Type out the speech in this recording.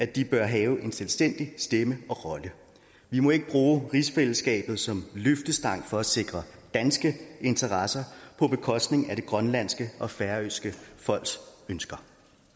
de bør have en selvstændig stemme og rolle vi må ikke bruge rigsfællesskabet som løftestang for at sikre danske interesser på bekostning af det grønlandske og færøske folks ønsker